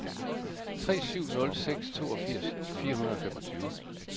tre syv nul seks toogfirs fire hundrede og femogtyve